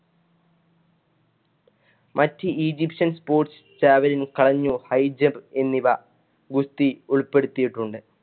മറ്റു Egyptian‍ sports, javelin high jump എന്നിവ ഗുസ്തി ഉൾപ്പെടുത്തിയിട്ടുണ്ട്.